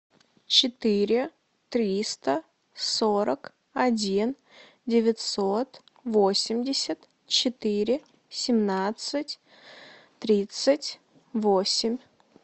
четыре триста сорок один девятьсот восемьдесят четыре семнадцать тридцать восемь